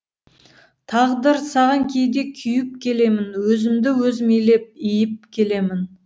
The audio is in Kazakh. тағдыр саған кейде күйіп келемін өзімді өзім илеп иіп келемін